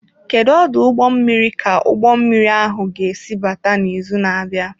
Kedu ọdụ ụgbọ mmiri ka ụgbọ mmiri ahụ ga-esi abata n'izu na-abịa?